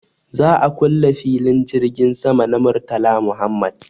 Za a kule filin jirgin sama na Murtala Muhammad.